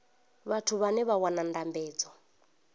vhathu vhane vha wana ndambedzo